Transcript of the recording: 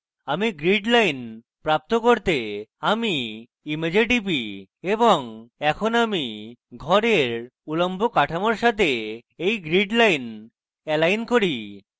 এখন grid lines প্রাপ্ত করতে আমি image টিপি এবং এখন আমি ঘরের উল্লম্ব কাঠামোর সাথে এই grid lines lines করি